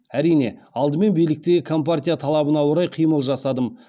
әрине алдымен биліктегі компартия талабына орай қимыл жасадым